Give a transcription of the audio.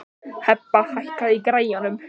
Hebba, hækkaðu í græjunum.